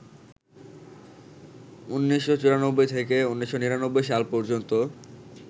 ১৯৯৪ থেকে ১৯৯৯ সাল পর্যন্ত